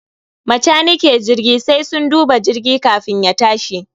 Macanike jirgi sai sun duba jirgi kafin ya tashi